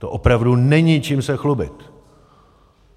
To opravdu není čím se chlubit!